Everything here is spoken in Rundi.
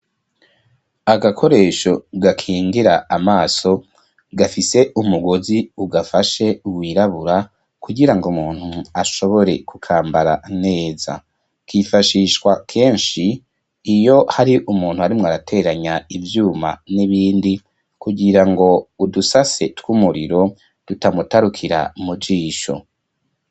Agakoresho gakingira amaso gafise umugozi ugafashe wirabura kugira ngo muntu ashobore kukambara neza. Kifashishwa kenshi iyo hari umuntu arimwo arateranya ivyuma n'ibindi kugirango udusase tw'umuriro dutamutarukira mu jisho.